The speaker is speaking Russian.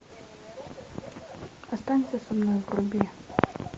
останься со мной вруби